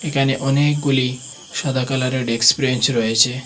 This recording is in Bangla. এখানে অনেকগুলি সাদা কালারের ডেক্স ব্রেঞ্চ রয়েছে।